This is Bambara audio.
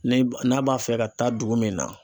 Ni n'a b'a fɛ ka taa dugu min na.